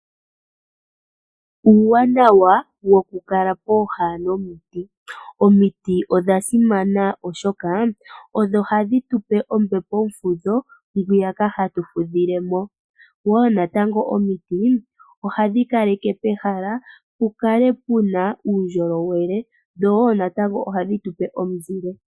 Uuwanawa wokukala pooha nomiti Omiti odha simana oshoka odho hadhi tupe ombepo yomufudho ngwiyaka hatu fudhilemo, woo natango omiti ohadhi kaleke pehala pu kale puna uundjolowele dho woo natango ohadhi tupe omuzile.